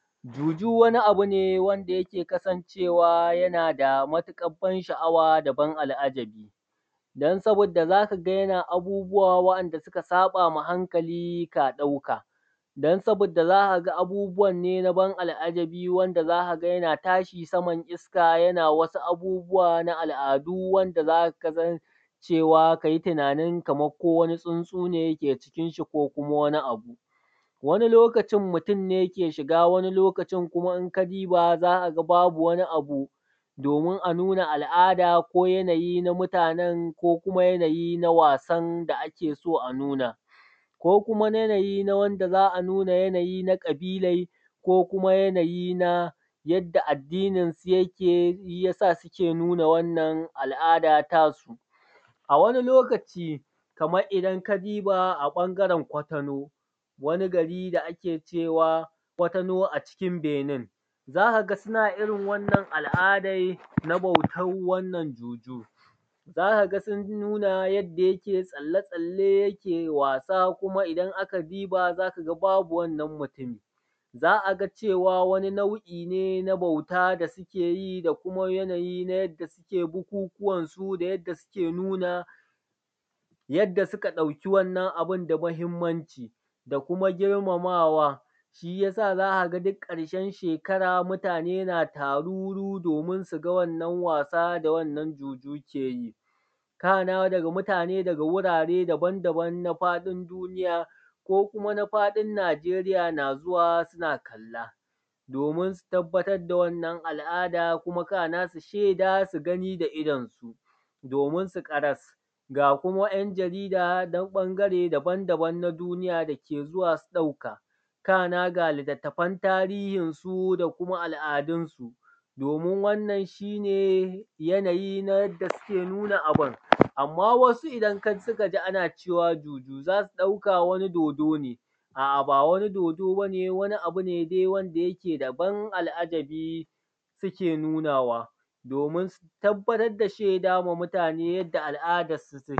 Juju wani abu ne wanda yake kasancewa yana da matuƙar ban sha'awa da ban al’ajabi. Don saboda za ka ga yana abubuwa wa'anda suka saɓa wa hankali ka ɗauka. Don saboda za ka ga abubuwan ne na ban al’ajabi wanda za ka ga yana tashi saman iska yana wasu abubuwa na al’adu wanda za ka san cewa ka yi tunanin kamar ko wani tsuntsu ne ke cikin shi, ko kuma wani abu. Wani lokacin mutun ne ke shiga wani lokacin in ka duba za ka ga ba bu wani abu domin anu na al’ada ko yanayi na mutanan, ko kuma yanayi na wasan da ake so a nuna. Ko kuma yanayin na wanda za a nuna yanayi na ƙabilar ko kuma yanayi na ydda addinin su yake shi yasa suke nuna wannan al’ada ta su. A wani lokacin kamar idan ka diba a ɓangaran kwatano, wani gari da ake cewa kwatano a cikin benin, za ka ga suna irin wannan al’adan na bautan wannan juju. Za ka ga suna nuna yadda yake tsalle tsalle, yake wasa kuma idan an diba za ka ga babu wannan mutumin. Za a ga cewa wani nau'i ne na bauta da suke yi da kuma yanayin na yanda suke bukukuwansu, da yadda suke nuna yadda suka ɗauki wannan abun da muhimmanci, da kuma girmamawa. Shi ya sa za ka ga duk ƙarshen shekara mutane na taruru domin su ga wannan wasa da wannan juju ke yi. Kana mutane daga wurare daban daban na faɗin duniya ko kuma na faɗin Najerayi na zuwa suna kalla domin su tabatar da wannan al’ada, kuma kana su sheda su gani da idonsu domin su ƙaras ga kuma ‘yan jarida na ɓangare daban daban na duniya da ke zuwa su ɗauka, kana ga litatafan tarihinsu da kuma al’adun su domin wannan shi ne yanayi na yanda suke nuna abun. Amma wasu idan su ka ji ana cewa juju, za su ɗauka wani dodo ne, a’a ba wani dodo bane wani abu ne dai wanda yake da ban al’ajabi suke nunawa, domin su tabatarwa da shaida ma mutane yadda al’adan su take.